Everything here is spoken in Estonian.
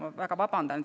Ma väga vabandan.